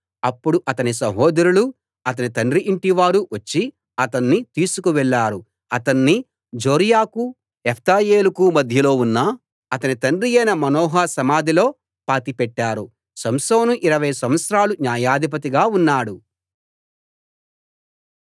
అప్పుడు అతని సహోదరులూ అతని తండ్రి ఇంటివారూ వచ్చి అతణ్ణి తీసుకు వెళ్ళారు అతణ్ణి జోర్యాకూ ఎష్తాయోలుకూ మధ్యలో ఉన్న అతని తండ్రియైన మానోహ సమాధిలో పాతిపెట్టారు సంసోను ఇరవై సంవత్సరాలు న్యాయాధిపతిగా ఉన్నాడు